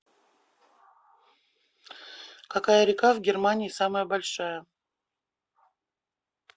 какая река в германии самая большая